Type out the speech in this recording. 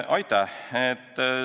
Aitäh!